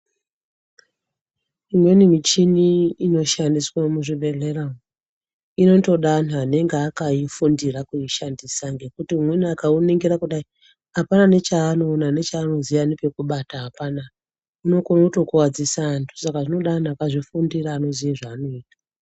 Imweni michini inoshandiswa muzvibhedhlera inotoda antu anenge akafundira kuishandisa ngekuti umweni akainingura kudai apana nechanoona nepanoziva pekubata haaana unenge wokuwadzisa vantu Saka zvinoda vantu vakazvifundira vanoziva zvavanoita.